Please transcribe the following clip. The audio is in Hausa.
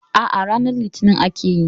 A'a, ranar litinin akayi.